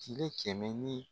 Cile kɛmɛ ni